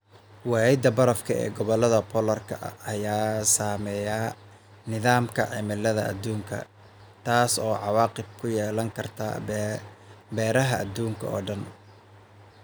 Waayida barafka ee gobollada polar-ka ayaa saameeya nidaamka cimilada adduunka, taas oo cawaaqib ku yeelan karta beeraha adduunka oo dhan.